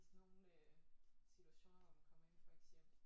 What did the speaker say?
I sådan nogle øh situationer hvor man kommer ind i folks hjem